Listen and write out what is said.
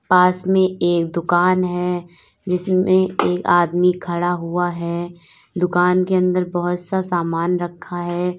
पास में एक दुकान है जिसमें एक आदमी खड़ा हुआ है दुकान के अंदर बहुत सा सामान रखा है।